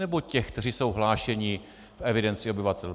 Nebo těch, kteří jsou hlášeni v evidenci obyvatel?